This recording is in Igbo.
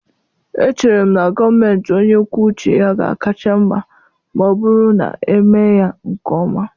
Echere m na gọọmentị onye kwuo uche ya ga-akacha mma ma ọ bụrụ na emee ya nke ọma.